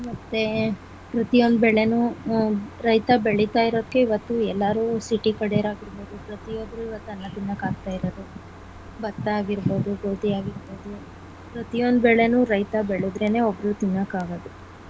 ಮತ್ತೆ ಪ್ರತಿಯೊಂದು ಬೆಳೆನು ಅಹ್ ರೈತ ಬೆಳಿತಾ ಇರೋಕೆ ಇವತ್ತು ಎಲ್ಲರೂ city ಕಡೆರು ಆಗಿರ್ಬೋದು ಪ್ರತಿಯೊಬ್ಬರೂ ಇವತ್ತು ಅನ್ನ ತಿನ್ನೋಕ್ ಆಗ್ತಾ ಇರೋದು ಭತ್ತ ಆಗಿರ್ಬೋ ದು , ಗೋಧಿ ಆಗಿರ್ಬೋದು ಪ್ರತಿಯೊಂದು ಬೆಳೆನು ರೈತ ಬೆಳೆದ್ರೆನೆ ಒಬ್ರು ತಿನ್ನೋಕ್ ಆಗೋದು.